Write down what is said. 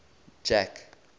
jack